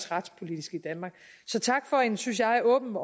retspolitisk i danmark så tak for en synes jeg åben